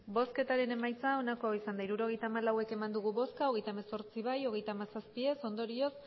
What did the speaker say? hirurogeita hamalau eman dugu bozka hogeita hemezortzi bai hogeita hamazazpi ez ondorioz